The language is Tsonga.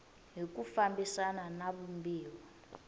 hi ku fambisana na vumbiwa